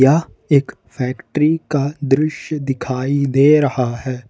यह एक फैक्ट्री का दृश्य दिखाई दे रहा है।